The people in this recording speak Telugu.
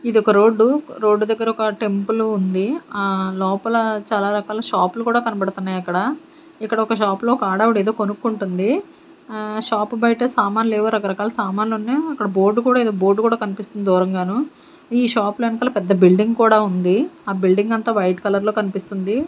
ఇది ఒక రోడ్డు రోడ్డు దగ్గర ఒక టెంపుల్ ఉంది ఆ లోపల చాలా రకాల షాపులు కూడా కనబడుతున్నాయి అక్కడ ఇక్కడ ఒక షాప్ లో ఒక ఆడావిడ ఏదో కొనుక్కుంటుంది ఆ షాప్ బయట సామాన్లు లేవో రకరకాల సామాన్లు ఉన్నాయి అక్కడ బోర్డు కూడా ఏదో బోర్డు కూడా కనిపిస్తుంది దూరంగాను ఈ షాప్ లో వెనకల పెద్ద బిల్డింగ్ కూడా ఉంది ఆ బిల్డింగ్ అంతా వైట్ కలర్ లో కనిపిస్తుంది.